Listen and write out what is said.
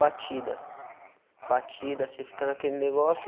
batida, batida, você fica naquele negócio.